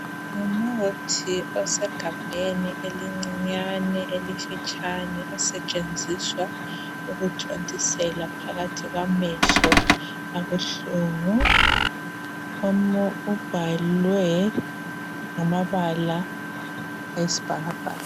Ngumuthi esogabheni elincinyane elifitshane osetshenziswa ukuthontisela phakathi kwamehlo abuhlungu ubhalwe ngamabala ayisibhakabhaka.